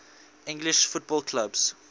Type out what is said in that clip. english football clubs